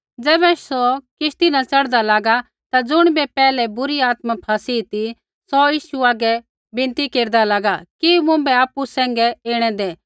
ज़ैबै सौ किश्ती न च़ढ़दा लागा ता ज़ुणिबै पैहलै बुरी आत्मा फ़ैसी ती सौ यीशु हागै विनती केरदा लागा कि मुँभै आपु सैंघै ऐणै दै